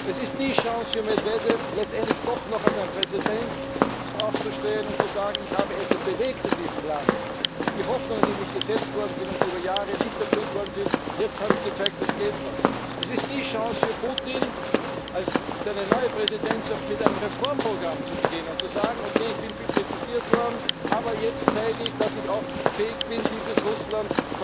Es ist die Chance für Medwedjew, letztendlich doch noch als Präsident aufzustehen und zu sagen Ich habe etwas bewegt in diesem Land! Bei all den Hoffnungen, die in mich gesetzt worden sind und über Jahre nicht erfüllt wurden, jetzt habe ich gezeigt, es geht was! Es ist die Chance für Putin, seine neue Präsidentschaft mit einem Reformprogramm zu beginnen und zu sagen, gut, ich bin viel kritisiert worden, aber jetzt zeige ich, dass ich auch fähig bin, dieses Russland